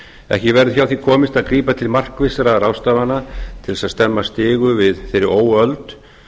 ekki verður hjá því komist að grípa til markvissra ráðstafana til að stemma stigu við þeirri óöld